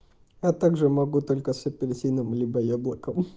а также могу только с апельсином либо яблоком